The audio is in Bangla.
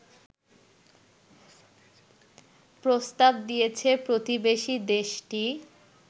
প্রস্তাব দিয়েছে প্রতিবেশী দেশটি